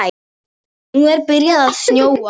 Nú er byrjað að snjóa.